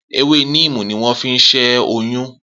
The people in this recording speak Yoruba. Ewé níìmù ni wọ́n fi ṣẹ́ oyún